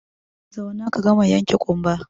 Zauna ka gama yanke ƙumba!